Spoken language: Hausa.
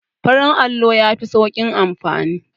Farin allo yafi sauƙin amfani